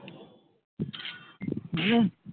বলেনি?